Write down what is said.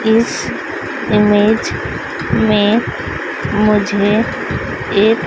इस इमेज में मुझे एक--